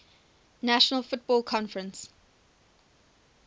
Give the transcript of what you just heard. national football conference